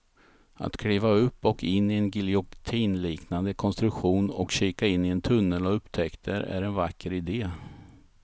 Att kliva upp och in i en giljotinliknande konstruktion och kika in i en tunnel av upptäckter är en vacker idé.